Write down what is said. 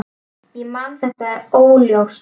Ég man þetta óljóst.